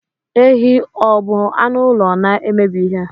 Ehi ọ bụ anụ ụlọ na-emebi ihe?